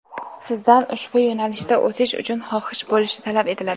sizdan ushbu yo‘nalishda o‘sish uchun xohish bo‘lishi talab etiladi.